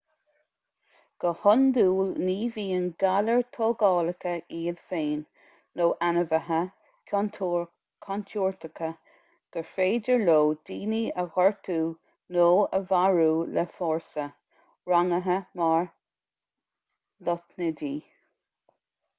go hiondúil ní bhíonn galair thógálacha iad féin nó ainmhithe contúirteacha gur féidir leo daoine a ghortú nó a mharú le fórsa rangaithe mar lotnaidí